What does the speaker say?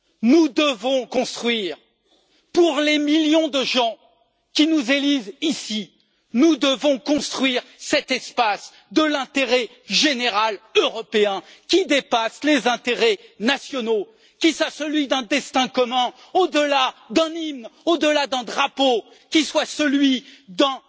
Nous devons construire pour les millions de gens qui nous élisent, ici, cet espace de l'intérêt général européen qui dépasse les intérêts nationaux, qui soit celui d'un destin commun au delà d'un hymne, au delà d'un drapeau, qui soit celui d'un